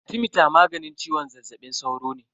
Arthemeter maganin ciwon zazzabin sauro ne.